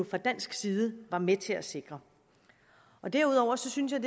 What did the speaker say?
fra dansk side var med til at sikre derudover synes jeg